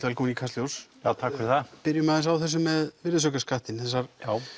velkominn í Kastljós takk fyrir það ef byrjum aðeins á þessu með virðisaukaskattinn þessar